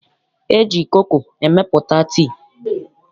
E ji koko emepụta tii.